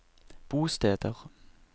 bosteder